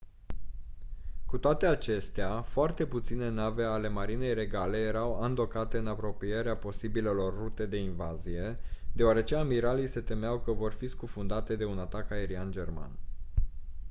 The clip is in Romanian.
cu toate acestea foarte puține nave ale marinei regale erau andocate în apropierea posibilelor rute de invazie deoarece amiralii se temeau că vor fi scufundate de un atac aerian german